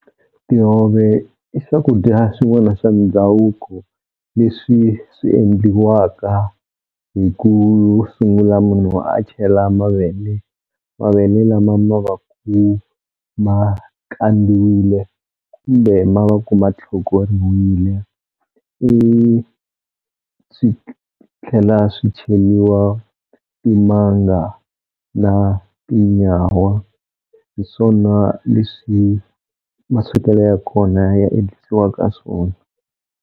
Tihove i swakudya swin'wana swa ndhavuko leswi swi endliwaka hi ku sungula munhu a chela mavele, mavele lama ma va ku ma kandziwile kumbe ma va ku ma tlhokoriwile swi tlhela swi cheliwa timanga na tinyawa hi swona leswi maswekelo ya kona ya endlisiwaka swona.